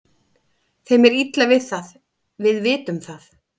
Þeim er illa við það, við vitum það.